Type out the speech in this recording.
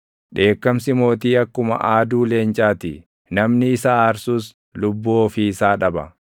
Dheekkamsi mootii akkuma aaduu leencaa ti; namni isa aarsus lubbuu ofii isaa dhaba.